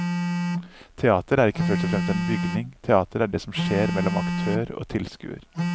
Teater er ikke først og fremst en bygning, teater er det som skjer mellom aktør og tilskuer.